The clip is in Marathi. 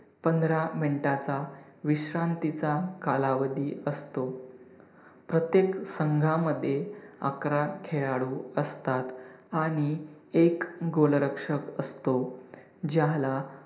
पंधरा minutes चा विश्रांतीचा कालावधी असतो. प्रत्येक संघामध्ये अकरा खेळाडू असतात आणि एक goal रक्षक असतो. ज्याला